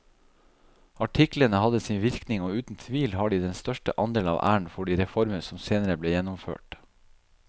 Artiklene hadde sin virkning og uten tvil har de den største andel av æren for de reformer som senere ble gjennomført.